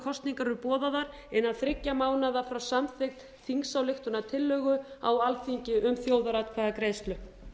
kosningar eru boðaðar innan þriggja mánaða frá samþykkt þingsályktunartillögu á alþingi um þjóðaratkvæðagreiðslu